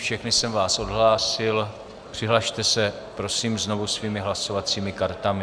Všechny jsem vás odhlásil, přihlaste se prosím znovu svými hlasovacími kartami.